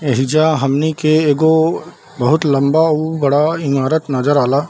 एहिजा हमनी के एगो बहुत लम्बा उ बड़ा ईमारत नजर आला।